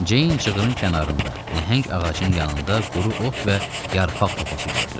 Ceyn cığırın kənarında nəhəng ağacın yanında quru ot və yarpaq topası gördü.